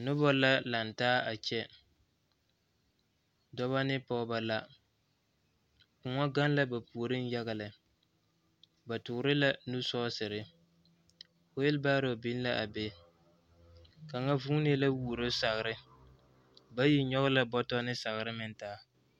Noba la laŋ taa a kyɛ dɔbɔ ne pɔgeba la kõɔ gaŋ la ba puoriŋ yaga lɛ ba tɔɔre la nu sɔɔsere weebaro biŋ la a be kaŋa vuunee a duoro sagre bayi nyɔge la sagre ne bɔto taa